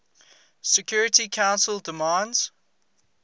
security council demands